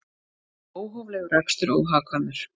Óhóflegur akstur óhagkvæmur